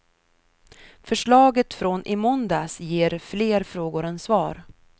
Förslaget från i måndags ger fler frågor än svar.